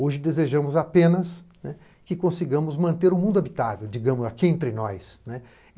Hoje desejamos apenas que consigamos manter o mundo habitável, digamos, aqui entre nós.